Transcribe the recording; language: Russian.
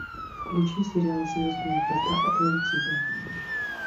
включи сериал звездные врата атлантиды